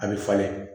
A bɛ falen